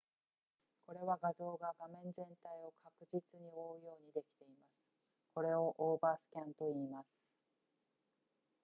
これは画像が画面全体を確実に覆うようにできていますこれをオーバースキャンといいます